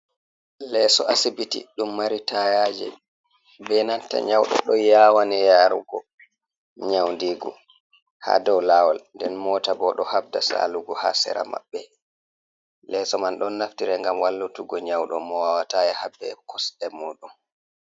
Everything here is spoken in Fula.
Leeso asibiti, dum mari tayaje be natta nyaudo do yawani yarugo nyaundigo, ha dow lawol nden mota bo do habda salugo ha sera mabbe, leso man don naftira, gam wallutugo nyaudo mo wawatai yaha be kosde muɗum.